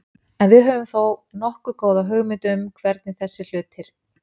En við höfum þó nokkuð góða hugmynd um hvernig þessir hlutir.